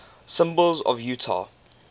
symbols of utah